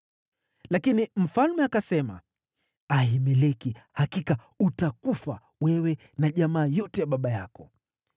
Lakini mfalme akasema, “Ahimeleki, hakika utakufa, wewe na jamaa yote ya baba yako.”